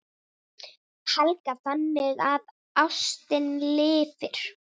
Helga: Þannig að ástin lifir?